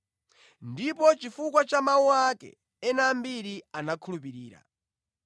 Ndipo chifukwa cha mawu ake, ena ambiri anakhulupirira.